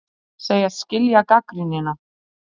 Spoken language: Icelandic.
Segjast skilja gagnrýnina